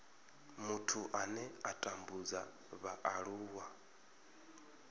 muthu ane a tambudza vhaaluwa